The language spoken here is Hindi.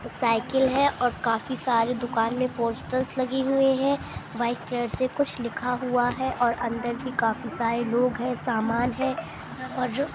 साईकिल है और काफी सारी दुकान में पोस्टरस लगी हुई है वाइट कलर से कुछ लिखा हुआ है और अंदर में काफी सारी लोग है सामान है और